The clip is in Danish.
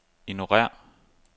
ignorér